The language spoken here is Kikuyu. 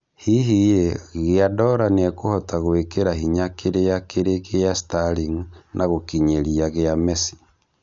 Hihi rĩ Guardola nĩekũhota gwĩkĩra hinya kĩrĩa kĩrĩ gĩa Sterling na gũkinyĩria gĩa Messi